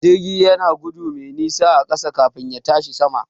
Jirgi yana gudu mai nisa a ƙasa kafin ya tashi sama.